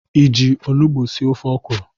Iji onugbo sie ofe ọkwụrụ?